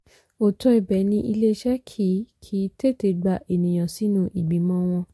òótọ́ ibẹ̀ ni iléeṣẹ́ kì kì í tètè gba ènìyàn sínú ìgbìmọ̀ wọn.